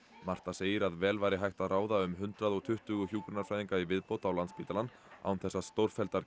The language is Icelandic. Marta segir að vel væri hægt að ráða um hundrað og tuttugu hjúkrunarfræðinga í viðbót á Landspítalann án þess að stórfelldar